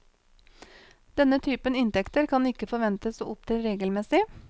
Denne typen inntekter kan ikke forventes å opptre regelmessig.